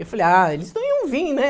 Eu falei, ah, eles não iam vir, né?